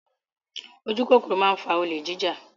Ojúkòkòrò máa ń fa olè jíjà.